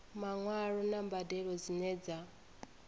maṅwalo na mbadelo dzine dza